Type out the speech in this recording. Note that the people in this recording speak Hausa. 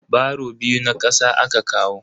Baro biyu na kasa aka kawo.